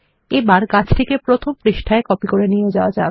এবার গাছটিকে প্রথম পৃষ্ঠায় কপি করে নিয়ে যাওয়া যাক